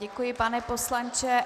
Děkuji, pane poslanče.